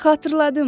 Xatırladım,